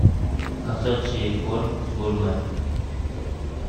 кошачий корм гурмэ